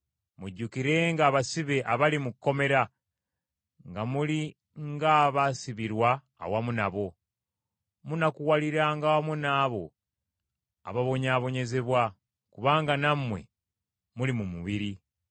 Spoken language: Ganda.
Mujjukirenga abasibe abali mu kkomera, nga muli nga abaasibirwa awamu n’abo. Munakuwaliranga wamu nabo ababonyaabonyezebwa, kubanga nammwe muli mu mubiri.